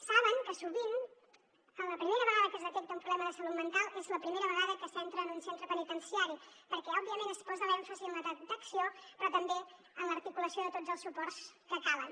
saben que sovint la primera vegada que es detecta un problema de salut mental és la primera vegada que s’entra en un centre penitenciari perquè òbviament es posa l’èmfasi en la detecció però també en l’articulació de tots els suports que calen